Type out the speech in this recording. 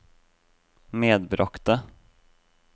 medbragte